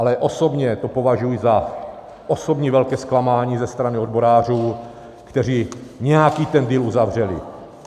Ale osobně to považuji za osobní velké zklamání ze strany odborářů, kteří nějaký ten deal uzavřeli.